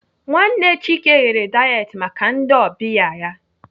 Nwanne Chike ghere dayet maka ndị ọbịa ya.